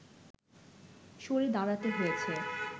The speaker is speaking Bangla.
সরে দাঁড়াতে হয়েছে